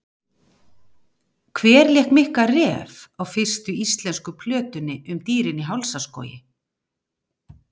Hver lék Mikka ref á fyrstu íslensku plötunni um Dýrin í hálsaskógi?